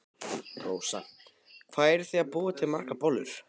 Rósa: Hvað eruð þið að búa til margar bollur?